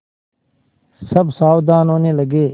सब सावधान होने लगे